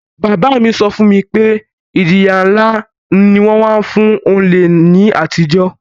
Bàbá mi so fún mi pe ìjìyà nlá ni won má n fun olè ni àtijó